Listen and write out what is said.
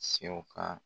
Sɛw ka